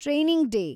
training day